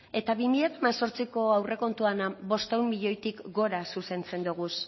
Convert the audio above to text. eta bi mila hemezortziko aurrekontuan bostehun milioitik gora zuzentzen dugu